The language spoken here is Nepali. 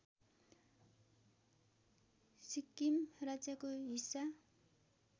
सिक्किम राज्यको हिस्सा